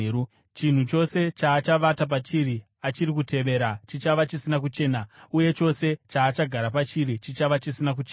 “ ‘Chinhu chose chaachavata pachiri achiri kutevera chichava chisina kuchena uye chose chaachagara pachiri chichava chisina kuchena.